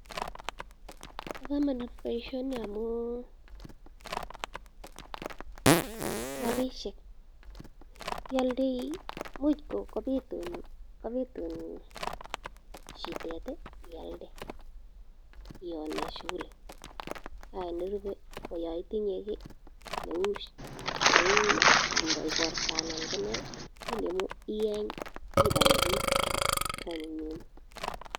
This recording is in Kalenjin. Bokomonut boishoni amun rabishek ialdoi imuch kobitun shidet ialde iwonen shughuli nerube ko yon itinye kii neuu ikorto anan ko nee inemu iyeny ibae biik konyumnyum.